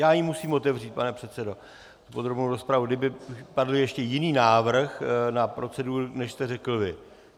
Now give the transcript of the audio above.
Já ji musím otevřít, pane předsedo, podrobnou rozpravu, kdyby padl ještě jiný návrh na proceduru, než jste řekl vy.